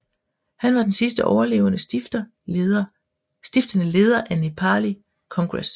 Han var den sidste overlevende stiftende leder af Nepali Congress